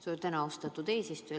Suur tänu, austatud eesistuja!